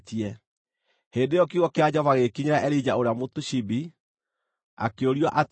Hĩndĩ ĩyo kiugo kĩa Jehova gĩgĩkinyĩra Elija ũrĩa Mũtishibi, akĩũrio atĩrĩ: